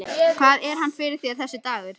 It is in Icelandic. Hvað var hann fyrir þér, þessi dagur.